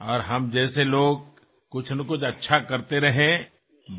আৰু মই আপোনাৰ ওচৰতো কৃতজ্ঞ কিয়নো আপুনি সদায়েই মোৰ বিষয়ে চিন্তা কৰে